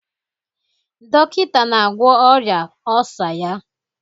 Dọkịta na-agwọ ọrịa ọlsa ya